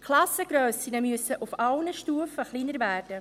Die Klassengrössen müssen auf allen Stufen kleiner werden.